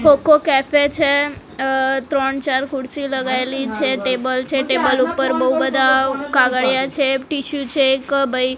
cocoa cafe છે અહ ત્રણ ચાર ખુરસી લગાયલી છે ટેબલ છે ટેબલ ઉપર બૌ બધા કાગળિયા છે ટિશ્યુ છે એક ભઈ--